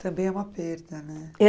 Também é uma perda, né?